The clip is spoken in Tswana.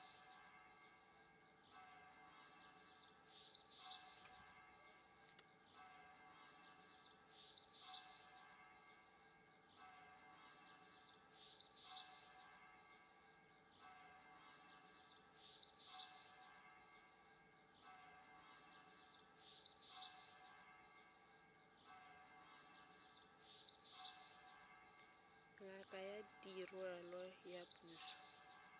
ngaka ya diruiwa ya puso